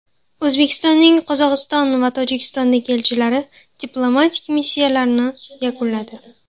O‘zbekistonning Qozog‘iston va Tojikistondagi elchilari diplomatik missiyalarini yakunladi.